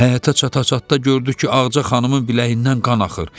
Həyətə çata-çatda gördü ki, Ağca xanımın biləyindən qan axır.